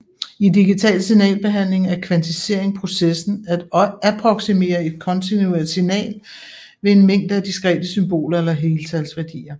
I digital signalbehandling er kvantisering processen at approksimere et kontinuert signal ved en mængde af diskrete symboler eller heltalsværdier